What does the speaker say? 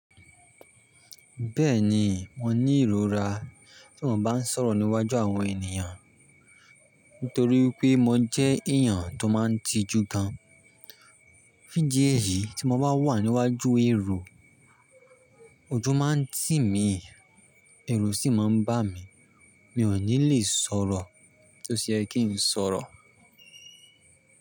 Bẹ́ẹ̀ni, mo ní ìrora tí mo bá ń sọ̀rọ̀ níwájú àwọn ènìyàn. Nítorí pé mo jẹ́ èèyàn tó máa ń tijú gan. Fún ìdí èyí, tí mo bá wà ní iwájú èrò, ojú máa ń tì mí ẹ̀rù sì máa ń bà mí mi ò ní lè sọ̀rọ̀ tí ó se yẹ kí ń sọ̀rọ̀.